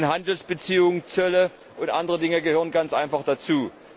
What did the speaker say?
Handelsbeziehungen, Zölle und andere Dinge gehören ganz einfach dazu.